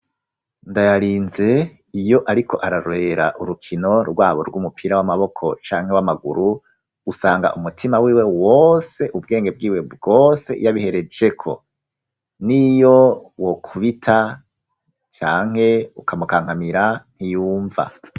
Ndayarinze iyo ariko ararorera urukino rwabo rw'umupira w'amaboko canke w'amaguru usanga umutima w'iwe wose ubwenge bwiwe bwose yabiherejeko niyo wokubita canke ukamukankamira ntiyumva.